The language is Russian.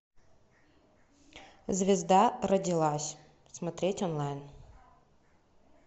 звезда родилась смотреть онлайн